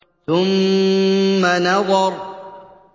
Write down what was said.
ثُمَّ نَظَرَ